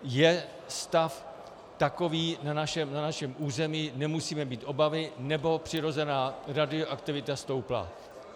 Je stav takový na našem území, nemusíme mít obavy, nebo přirozená radioaktivita stoupla.